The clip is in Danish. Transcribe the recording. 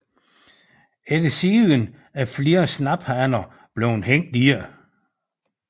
Efter sigende er flere snaphaner blevet hængt i det